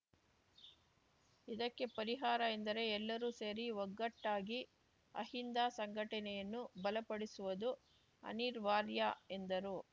ಇದಕ್ಕೆ ಪರಿಹಾರ ಎಂದರೆ ಎಲ್ಲರೂ ಸೇರಿ ಒಗ್ಗಟ್ಟಾಗಿ ಅಹಿಂದ ಸಂಘಟನೆಯನ್ನು ಬಲಪಡಿಸುವುದು ಅನಿರ್ವಾರ್ಯ ಎಂದರು